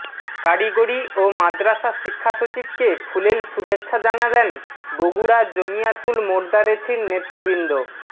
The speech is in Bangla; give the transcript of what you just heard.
কারিগরি ও মাদ্রাসা শিক্ষা সচিবকে ফুলেল শুভেচ্ছা জানালেন বগুড়া জমিয়াতুল মোদার্রেছিন নেতৃবৃন্দ